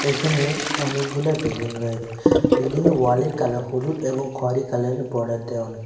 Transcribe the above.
এখানে অনেকগুলা বিল্ডিং রয়েছে বিল্ডিং এর ওয়ালের কালার হলুদ এবং খয়রি কালারের বর্ডার দেওয়ানো.